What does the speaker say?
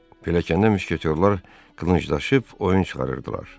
Pilləkəndə müşketyorlar qılınc daşıyıb oyun çıxarırdılar.